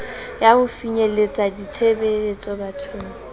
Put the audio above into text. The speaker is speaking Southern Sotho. ya ho finyeletsa ditshebeletso bathong